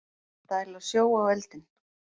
Dæla sjó á eldinn